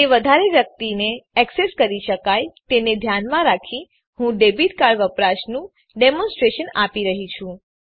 તે વધારે વ્યક્તિને એક્સેસ કરી શકાય તેને ધ્યાનમાં રાખી હું ડેબીટ કાર્ડ વપરાશનું ડેમોનસ્ટ્રેશન આપી રહ્યી છું